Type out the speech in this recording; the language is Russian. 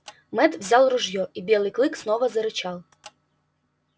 мэтт взял ружьё и белый клык снова зарычал